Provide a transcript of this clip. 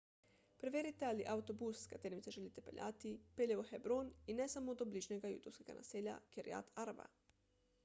preverite ali avtobus s katerim se želite peljati pelje v hebron in ne samo do bližnjega judovskega naselja kiryat arba